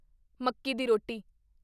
ਮੱਕੀ ਦੀ ਰੋਟੀ